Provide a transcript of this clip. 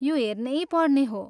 यो हेर्नैपर्ने हो।